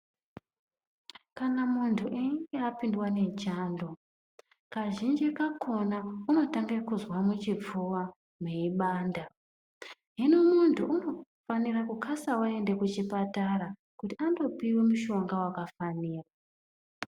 Kana munthu einge apindwa nechando kwazhinji kakhona unotanga kuzwa muchipfuwa meibanda, hino munthu inofanira kukasa aende kuchipatara kuti andopiwa mushonga wakafanira.